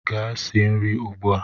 Gaa sie nri ugbu a!